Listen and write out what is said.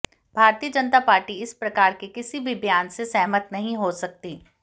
भारतीय जनता पार्टी इस प्रकार के किसी भी बयान से सहमत नहीं हो सकती